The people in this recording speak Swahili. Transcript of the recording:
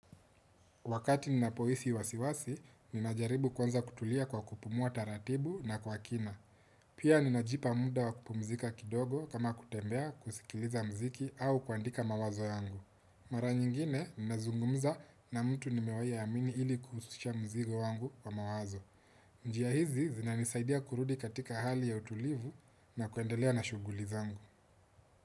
Wakati nina poisi wasiwasi, ninajaribu kwanza kutulia kwa kupumua taratibu na kwa kina. Pia ninajipa muda wa kupumzika kidogo kama kutembea kusikiliza mziki au kuandika mawazo yangu. Mara nyingine, ninazungumza na mtu nimewai amini ili kususha mzigo wangu wa mawazo. Njia hizi, zina nisaidia kurudi katika hali ya utulivu na kuendelea na shugulizangu.